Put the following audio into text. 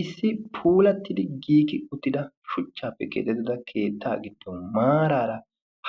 issi puulattidi giiki uttida shuchchaappe keetettida keetta giddon maaraara